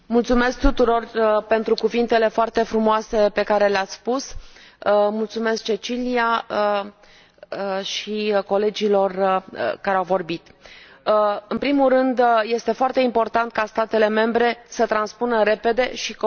În primul rând este foarte important ca statele membre să transpună repede și corect această directivă.